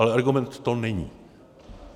Ale argument to není.